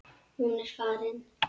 Hún er farin.